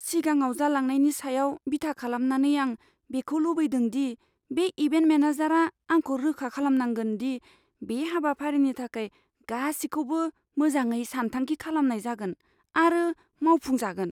सिगाङाव जालांनायनि सायाव बिथा खालामनानै आं बेखौ लुबैदों दि बे इभेन्ट मेनेजारआ आंखौ रोखा खालामनांगोन दि बे हाबाफारिनि थाखाय गासिखौबो मोजाङै सानथांखि खालामनाय जागोन आरो मावफुंजागोन।